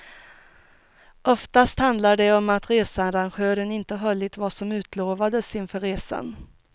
Oftast handlar det om att researrangören inte hållit vad som utlovades inför resan.